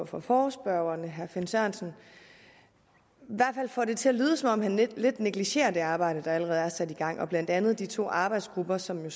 for forespørgerne herre finn sørensen får det til at lyde som om han i hvert lidt negligerer det arbejde der allerede er sat i gang blandt andet de to arbejdsgrupper som jo